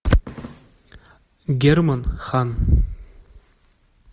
герман хан